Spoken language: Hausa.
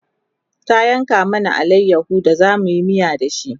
ta yanka mana alayaho da zamuyi miya da shi